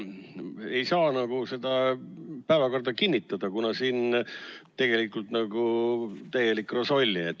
Ei saa nagu seda päevakorda kinnitada, kuna siin on tegelikult täielik rosolje.